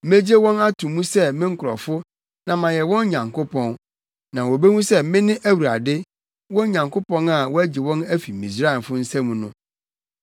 Megye wɔn ato mu sɛ me nkurɔfo na mayɛ wɔn Nyankopɔn. Na wobehu sɛ mene Awurade, wɔn Nyankopɔn a wagye wɔn afi Misraimfo nsam no.